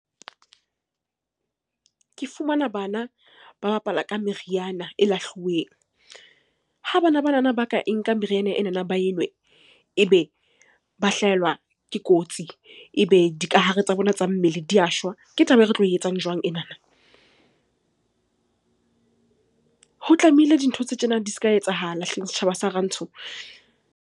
Ke fumana bana ba bapala ka meriana e lahluweng. Ha bana banana ba ka e nka meriana enana ba enwe, ebe ba hlahelwa ke kotsi, ebe dikahare tsa bona tsa mmele di a shwa, ke taba e re tlo e etsang jwang enana? Ho tlamehile dintho tse tjena di se ka etsahala hleng setjhaba sa rantsho.